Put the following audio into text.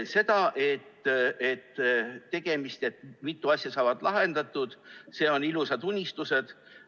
See, et mitu asja saab lahendatud – need on ilusad unistused.